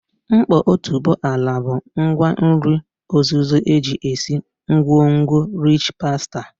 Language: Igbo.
Nkpo otuboala bụ ngwa nri ozuzo eji esi ngwongwo rịch pastà